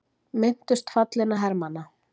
Minntust fallinna hermanna